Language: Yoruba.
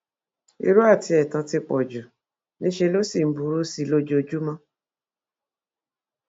irọ àti ẹtàn ti pọ jù níṣẹ ló sì ń burú sí i lójoojúmọ